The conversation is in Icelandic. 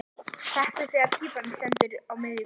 Hrekk við þegar píparinn stendur á miðju gólfi.